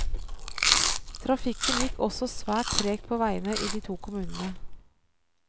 Trafikken gikk også svært tregt på veiene i de to kommunene.